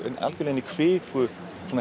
algjörlega inn í kviku